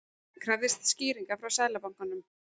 Krafðist skýringa frá Seðlabankanum